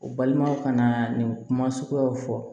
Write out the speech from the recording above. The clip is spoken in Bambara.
U balimaw ka na nin kuma suguyaw fɔ